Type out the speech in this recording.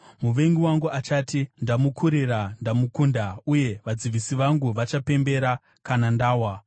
muvengi wangu achati, “Ndamukurira ndamukunda,” uye vadzivisi vangu vachapembera kana ndawa.